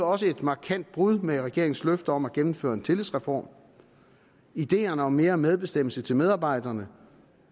også et markant brud med regeringens løfte om at gennemføre en tillidsreform ideerne om mere medbestemmelse til medarbejderne